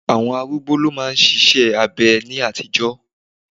Àwọn arúgbó lo ma n ṣiṣẹ́ abẹ ní àtijọ́.